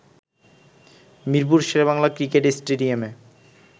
Mirpur Sher e Bangla cricket স্টেডিয়ামে